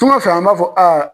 Tuŋanfɛ an b'a fɔ a